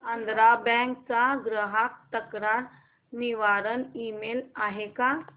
Andhra bank चा ग्राहक तक्रार निवारण ईमेल आहे का